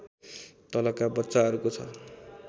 तलका बच्चाहरूको छ